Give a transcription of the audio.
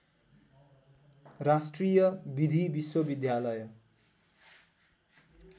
राष्ट्रिय विधि विश्वविद्यालय